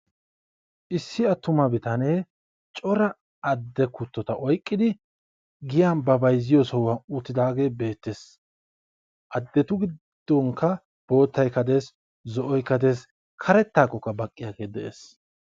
Issi attuma bitanee cora adde kuttota oyqqidi giyan ba bayzziyo sohuwan uttidaagee beettees. Addetu giddonkka boottaykka dees, zo'oykka dees, karettaakkokka baqqiyagee de'ees.